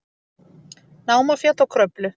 Námafjall og Kröflu.